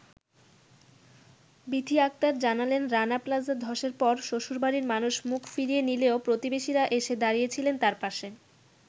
বিথী আক্তার জানালেন রানা প্লাজা ধসের পর শ্বশুরবাড়ির মানুষ মুখ ফিরিয়ে নিলেও প্রতিবেশীরা এসে দাঁড়িয়েছিলেন তার পাশে।